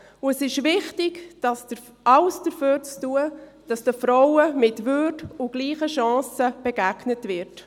Es ist wichtig, alles dafür zu tun, dass den Frauen mit Würde und gleichen Chancen begegnet wird.